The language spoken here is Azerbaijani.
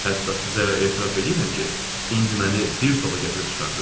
Hətta sizə etiraf eləyirəm ki, indi məni bir zola gətirib çıxardınız.